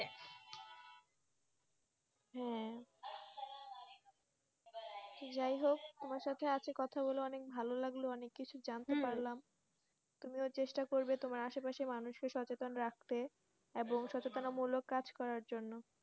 হ্যাঁ যাই হোক তোমার সঙ্গে আজকে কথা বলে অনেক ভালো লাগলো, অনেক কিছু জানতে পারলাম তুমিও চেষ্টা করবে তোমার আশেপাশের মানুষকে সচেতন রাখতে এবং সচেতন মূলক কাজ করার জন্য,